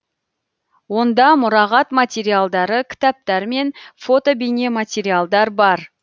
онда мұрағат материалдары кітаптар мен фото бейнематериалдар бар